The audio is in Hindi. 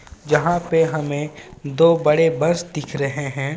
जहाँ पे हमें दो बड़े बस दिख रहे हैं.